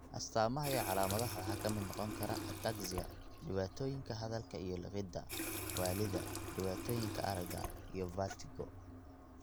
astamaha iyo calaamadaha waxaa ka mid noqon kara ataxia, dhibaatooyinka hadalka iyo liqidda, waallida, dhibaatooyinka aragga, iyo vertigo.